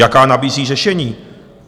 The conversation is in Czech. Jaká nabízí řešení?